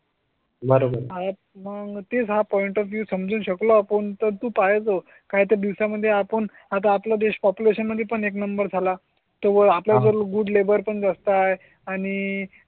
बरोबर आहेत. मग तेच हां पॉइंट ऑफ व्यू समजू शकलो. आपण तर तू पाहायचं. काही दिवसा मध्ये आपण आता आपला देश पॉप्युलेशन मध्ये एक नंबर झाला. तो आपल्या गुड लेबर पण जास्त आहे आणि